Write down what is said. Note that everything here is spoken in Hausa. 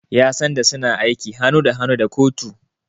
Yan sanda suna aiki hannu da hannu da kotu.